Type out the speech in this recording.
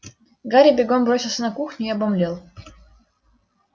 гарри бегом бросился в кухню и обомлел